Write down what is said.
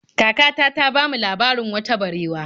Kakata ta bamu labarin wata barewa.